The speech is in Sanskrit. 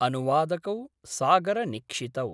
अनुवादकौसागरनिक्षितौ